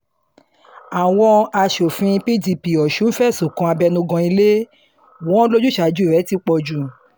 àwọn aṣòfin pdp ọ̀sùn fẹ̀sùn kan abẹnugan ilé wọn lójúsàájú rẹ̀ ti pọ̀ jù